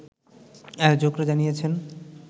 আয়োজকরা জানিয়েছেন